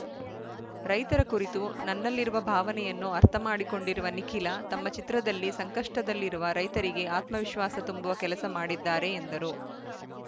ರೈತರ ಕುರಿತು ನನ್ನಲಿರುವ ಭಾವನೆಯನ್ನು ಅರ್ಥಮಾಡಿಕೊಂಡಿರುವ ನಿಖಿಲ ತಮ್ಮ ಚಿತ್ರದಲ್ಲಿ ಸಂಕಷ್ಟದಲ್ಲಿರುವ ರೈತರಿಗೆ ಆತ್ಮವಿಶ್ವಾಸ ತುಂಬುವ ಕೆಲಸ ಮಾಡಿದ್ದಾರೆ ಎಂದರು